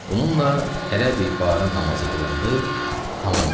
Bununla tələbə namazı qılındı, tamam oldu.